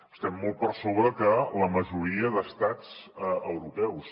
estem molt per sobre que la majoria d’estats europeus